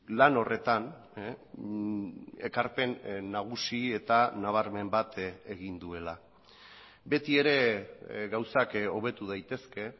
lan horretan ekarpen nagusi eta nabarmen bat egin duela beti ere gauzak hobetu daitezke